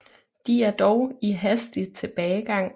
De er dog i hastig tilbagegang